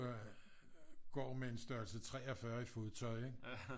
Går med en størrelse 43 i fodtøj ikke